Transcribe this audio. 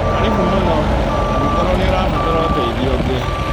Karĩbũ mũno. Angĩkorwo nĩ ũrabatara ũteithio ũngĩ